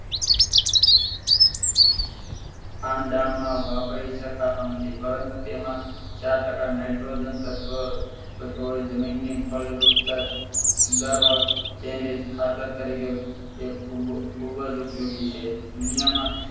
ખાણ દાન માં વાપરી સકાતો નથી પરંતુ તેમાં ચાર ટકા nitrogen તત્વ જમીન ની ફળદ્રુપતા સુધારવા કેન્દ્રિત ખાતર તરીકે એ ખૂબ ખૂબ જ ઉપયોગી છે